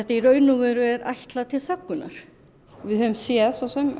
í raun og veru ætlað til þöggunar við höfum séð